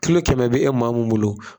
kɛmɛ be e maa mun bolo